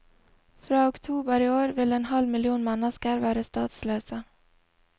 Fra oktober i år vil en halv million mennesker være statsløse.